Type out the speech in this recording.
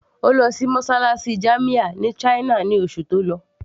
Ó lọ sí mosálásí jamia ní china ní oṣù tó lọ